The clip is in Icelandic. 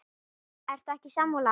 Ertu ekki sammála?